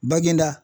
Bangeda